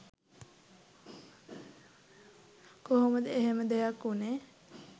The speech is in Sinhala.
කොහොමද එහෙම දෙයක් වුණේ